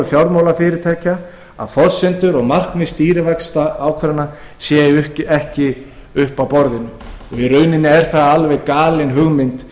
fjármálafyrirtækja að forsendur og markmið stýrivaxtaákvarðana séu ekki uppi á borðinu í rauninni er það alveg galin hugmynd